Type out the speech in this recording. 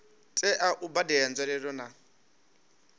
tea u badela nzwalelo na